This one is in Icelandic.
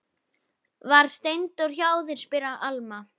Var Steindór hjá þér, spyr Alma.